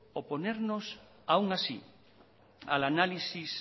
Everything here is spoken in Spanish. oponernos aún así al análisis